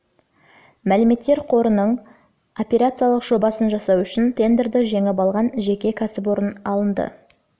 мәліметтер қорының операциялық жобасын жасау үшін тендерді жеңіп алған жеке кәсіпорын алынды